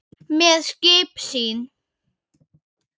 með skip sín